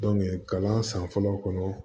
kalan san fɔlɔ kɔnɔ